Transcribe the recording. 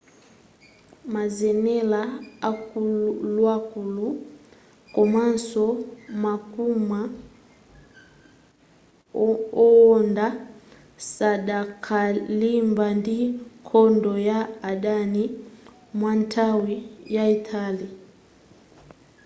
mazenela akuluakulu komanso makoma owonda sadakalimba ndi nkhondo ya adani kwanthawi yaitali